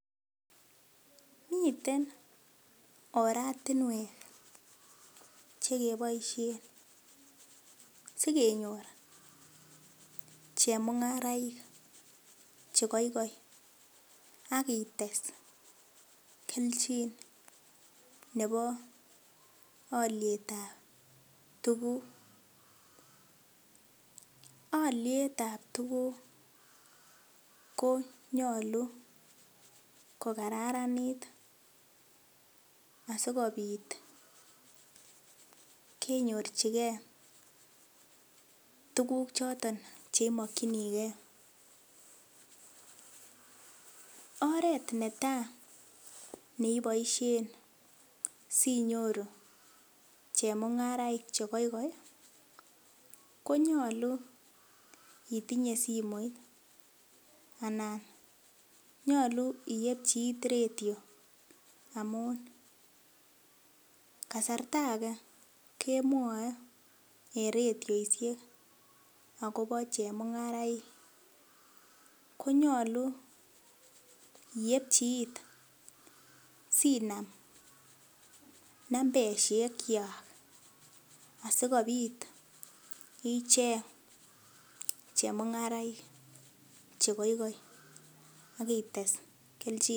Miten oratinwek chekeboisien sikenyor chemung'araik chekoikoi akites kelchin nebo alyetab tuguk alyetab tuguk konyolu kokararanit asikopit kenyorchike tuguk choton cheimokyinike oret netaa neiboisien sinyoru chemung'araik chekoikoi konyolu itinye simoit anan nyolu iepchi it redio, amun kasarta ake kemwoe en redioisiek akobo chemung'araik konyolu iepchi it sinam nambeshekchwak asikobit ichenge chemung'araik chekoikoi akites kelchinoik.